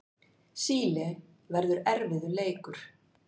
Síle verður erfiður leikur.